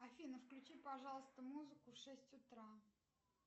афина включи пожалуйста музыку в шесть утра